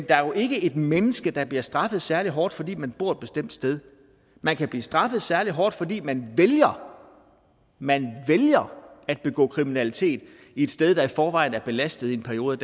der er jo ikke et menneske der bliver straffet særlig hårdt fordi man bor et bestemt sted man kan blive straffet særlig hårdt fordi man vælger man vælger at begå kriminalitet et sted der i forvejen er belastet i en periode